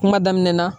Kuma daminɛ na